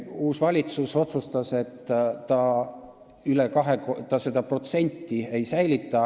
Uus valitsus otsustas, et ta seda protsenti ei säilita.